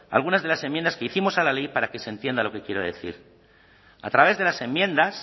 algunas de las enmiendas que hicimos a la ley para que se entienda lo que quiero decir a través de las enmiendas